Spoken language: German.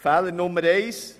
Fehler 1: